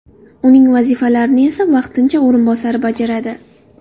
Uning vazifalarini esa vaqtincha o‘rinbosari bajaradi.